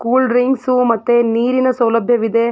Cool drinks ಮತ್ತೆ ನೀರಿನ ಸೌಲಭ್ಯವಿದೆ.